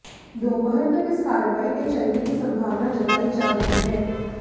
दोपहर तक इस कार्रवाई के चलने की संभावना जताई जा रही है